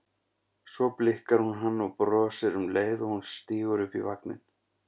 Svo blikkar hún hann og brosir um leið og hún stígur upp í vagninn.